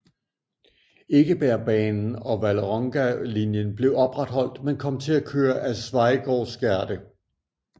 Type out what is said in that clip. Ekebergbanen og Vålerengagalinjen blev opretholdt men kom til at køre ad Schweigaards gate